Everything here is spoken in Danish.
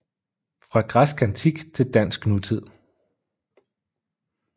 Fra græsk antik til dansk nutid